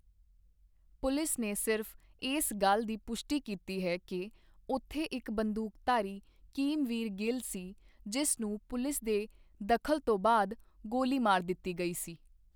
Police ਨੇ ਸਿਰਫ਼ ਇਸ ਗੱਲ ਦੀ ਪੁਸ਼ਟੀ ਕੀਤੀ ਹੈ ਕਿ ਉੱਥੇ ਇੱਕ ਬੰਦੂਕਧਾਰੀ ਕਿਮਵੀਰ ਗਿੱਲ ਸੀ, ਜਿਸ ਨੂੰ 'ਪੁਲਿਸ ਦੇ ਦਖ਼ਲ ਤੋਂ ਬਾਅਦ' ਗੋਲੀ ਮਾਰ ਦਿੱਤੀ ਗਈ ਸੀ।